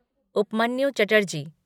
Upmanyu Chatterjee